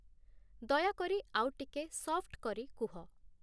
ଦୟାକରି ଆଉ ଟିକେ ସଫ୍ଟ୍‌ କରି କୁହ